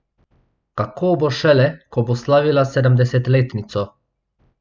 Kako bo šele, ko bo slavila sedemdesetletnico?